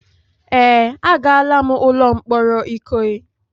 Ee, agala'm ụlọ mkpọrọ Ikoyi.